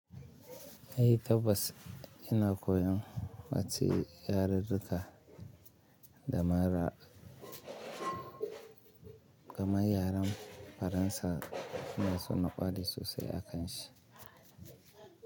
Ai tabbas ina koyon wacce yararruka dama yaren Faransa na so na ƙware sosai a kan shi.